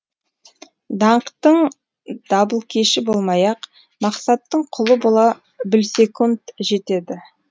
даңқтың дабылкеші болмай ақ мақсаттың құлы бола білсекунд жетеді